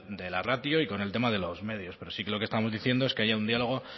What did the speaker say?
de la ratio y con el tema de los medios pero sí que lo que estamos diciendo es que haya un diálogo